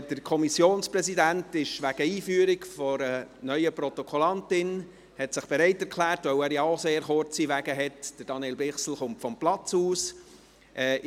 Der Kommissionspräsident Daniel Bichsel hat sich wegen der Einführung einer neuen Protokollführerin bereit erklärt – da er auch kurze Wege zu gehen hat –, dass er von seinem Platz aus nach vorne kommt.